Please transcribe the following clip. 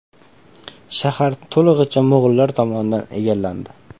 Shahar to‘lig‘icha mo‘g‘ullar tomonidan egallandi.